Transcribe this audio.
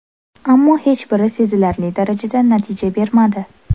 Ammo hech biri sezilarli darajada natija bermadi.